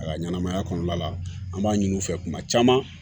A ka ɲɛnamaya kɔnɔna la an b'a ɲini u fɛ kuma caman